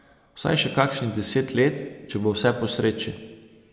Vsaj še kakšnih deset let, če bo vse po sreči.